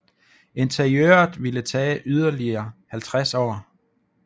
Interiøret ville tage yderligere 50 år